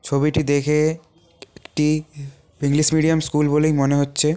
ছবিটি দেখে একটি ইংলিশ মিডিয়াম স্কুল বলেই মনে হচ্ছে।